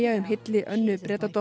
um hylli Önnu